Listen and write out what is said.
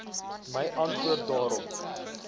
my antwoorde daarop